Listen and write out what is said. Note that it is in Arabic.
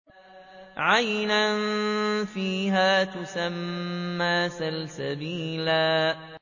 عَيْنًا فِيهَا تُسَمَّىٰ سَلْسَبِيلًا